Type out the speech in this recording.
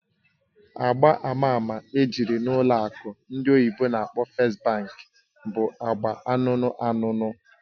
Agba ama ama ejiri n'ụlọ akụ ndị oyibo n'akpọ "First Bank" bụ agba anụnụ anụnụ